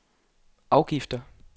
afgifter